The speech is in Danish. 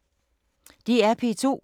DR P2